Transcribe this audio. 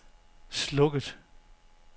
slukket